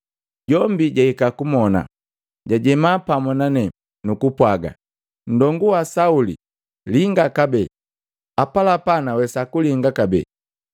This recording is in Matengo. Jombi jahika kumona, jajema pamu na nane, nukupwaga, ‘Nndongu wa Sauli! Linga kabee.’ Apalapa nawesa kulinga kabee.”